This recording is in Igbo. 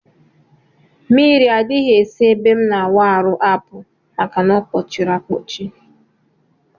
Mmiri adghi esi na ebe m na awụ arụ apụ maka na ọkpọchiri akpọchi.